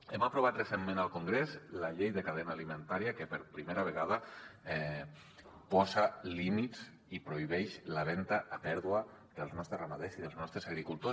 hem aprovat recentment al congrés la llei de cadena alimentària que per primera vegada posa límits i prohibeix la venda a pèrdua dels nostres ramaders i dels nostres agricultors